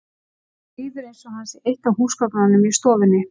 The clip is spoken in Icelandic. Honum líður eins og hann sé eitt af húsgögnunum í stofunni.